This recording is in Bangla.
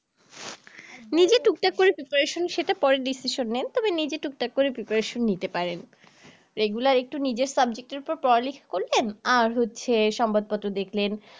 নিজে টুকটাক করে preparation সেটা পরের decision নেন তবে নিজে টুকটাক করে preparation নিতে পারেন regular একটু নিজের subject এর উপর পড়ালেখা করলেন আর হচ্ছে সংবাদপত্র দেখলেন